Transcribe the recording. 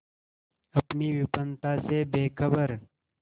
अपनी विपन्नता से बेखबर